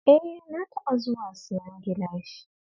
E, na taɓa zuwa siyan gilashi